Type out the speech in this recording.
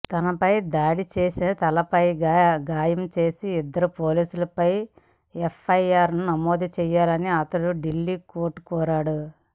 తనపై దాడి చేసి తలపై గాయం చేసిన ఇద్దరు పోలీసులపై ఎఫ్ఐఆర్ నమోదు చేయాలని అతను ఢిల్లీ కోర్టును కోరాడు